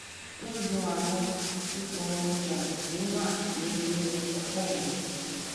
wọn yọ àwọn ìpọn ìpọn tí ó wà ní inú ọpò mi